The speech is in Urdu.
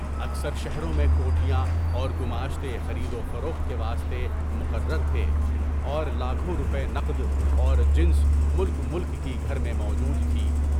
اکثر شہروں میں کوٹھیاں اور گماشتے خرید و فروخت کے واسطے مقرر تھے، اور لاکھوں روپے نقد اور جنس ملک ملک کی گھر میں موجود تھی۔